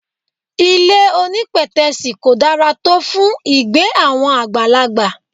Ilé onípètẹ́sì kò dára tó fún ìgbé àwọn àgbàlagbà.